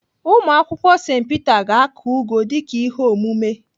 Ụmụakwụkwọ St Peter ga-akụ ụgụ dịka ihe omume.